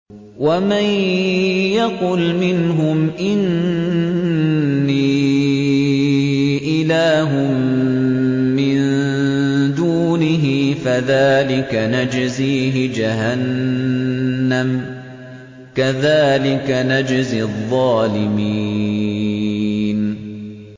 ۞ وَمَن يَقُلْ مِنْهُمْ إِنِّي إِلَٰهٌ مِّن دُونِهِ فَذَٰلِكَ نَجْزِيهِ جَهَنَّمَ ۚ كَذَٰلِكَ نَجْزِي الظَّالِمِينَ